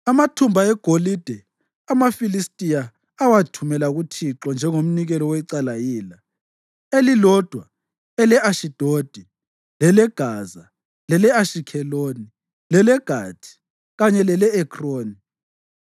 Amathumba egolide amaFilistiya awathumela kuThixo njengomnikelo wecala yila, elilodwa ele-Ashidodi, leleGaza, lele-Ashikheloni, leleGathi kanye lele-Ekroni.